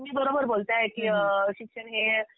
तुम्ही बरोबर बोलताय की शिक्षण हे